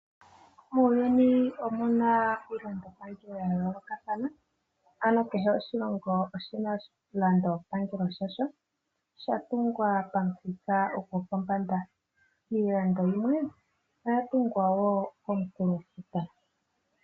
Muuyuni omuna iilongo yayoolokathana , ano kehe moshilongo omuna oshilandopangelo shasho, shatungwa pamuthika gopombanda. Iilando yimwe oya tungwa wo komukulofuta.